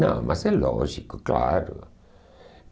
Não, mas é lógico, claro.